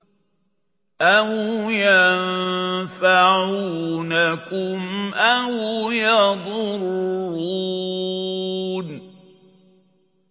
أَوْ يَنفَعُونَكُمْ أَوْ يَضُرُّونَ